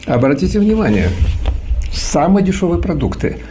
обратите внимание самые дешёвые продукты